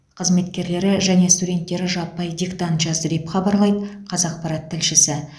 қызметкерлері және студенттері жаппай диктант жазды деп хабарлайды қазақпарат тілшісі